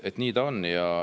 Nii ta on.